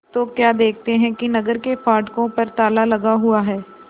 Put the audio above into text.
तो क्या देखते हैं कि नगर के फाटकों पर ताला लगा हुआ है